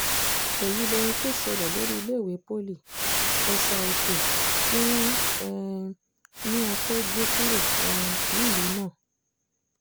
èyí lohun tó ṣẹlẹ̀ lórí iléèwé poli esa-òkè tí wọ́n um ní a fẹ́ẹ́ gbé kúrò um nílùú náà